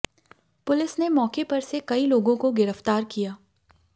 police ने मौके पर से कई लोगों को गिरफ्तार किया